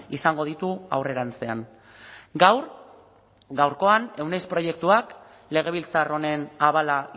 izango ditu aurrerantzean gaur gaurkoan euneiz proiektuak legebiltzar honen abala